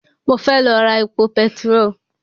Mo fẹ́ lọ ra epo petiró